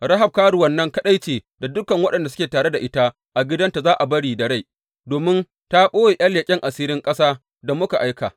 Rahab karuwan nan kaɗai ce, da dukan waɗanda suke tare da ita a gidanta za a bari da rai domin ta ɓoye ’yan leƙen asirin ƙasa da muka aika.